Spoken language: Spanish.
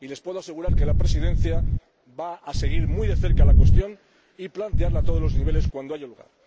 Y les puedo asegurar que la Presidencia va a seguir muy de cerca la cuestión y va a plantearla a todos los niveles cuando haya